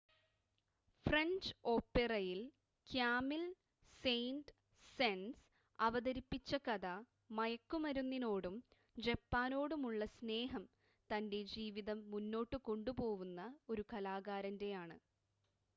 "French ഓപെറയിൽ Camille Saint -Saens അവതരിപ്പിച്ച കഥ "മയക്കുമരുന്നിനോടും ജപ്പാനോടുമുള്ള സ്നേഹം തന്റെ ജീവിതം മുന്നോട്ട് കൊണ്ടുപോവുന്ന" ഒരു കലാകാരന്റെ ആണ്.